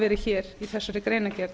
verið í greinargerðinni